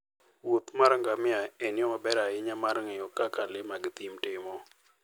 wuoth mar ngamia en yo maber ahinya mar ng'eyo kaka le mag thim timo.